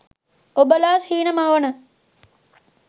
ඔබලා සිහින මවන